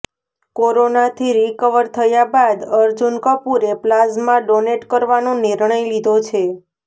કોરોનાથી રિકવર થયા બાદ અર્જુન કપૂરે પ્લાઝ્મા ડોનેટ કરવાનો નિર્ણય લીધો છે